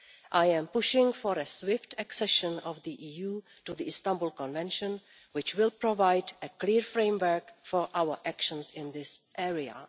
I am pushing for the swift accession of the EU to the Istanbul Convention, which will provide a clear framework for our actions in this area.